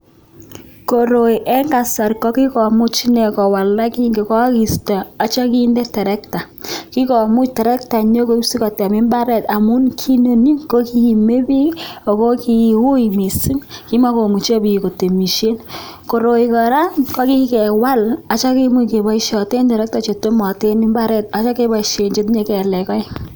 Koroi Eng kasari kokikomuch Krista agechopen (tractor) kikomuch (tractor) kotem imbaret koroi kora kokikende (tractor) sigopaishen sanishek aek